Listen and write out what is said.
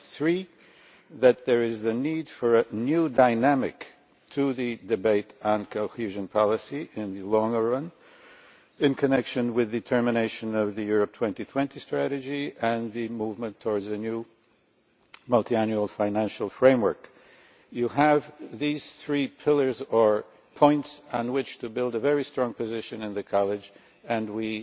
Thirdly, that there is the need for a new dynamic to the debate on cohesion policy in the longer run, in connection with the termination of the Europe 2020 strategy and the movement towards a new multiannual financial framework. You have these three pillars, or points, on which to build a very strong position in the College and